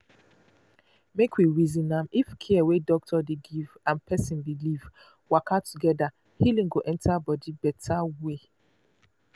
make we reason am if care wey doctor dey give and person belief waka together healing go enter body better way.